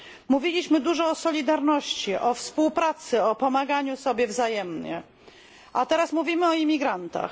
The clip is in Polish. Mówiliśmy dużo o solidarności, o współpracy, o pomaganiu sobie wzajemnie, a teraz mówimy o imigrantach.